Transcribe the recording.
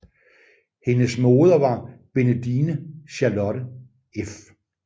Hendes moder var Bendine Charlotte f